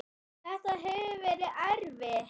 Þetta hefur verið erfitt.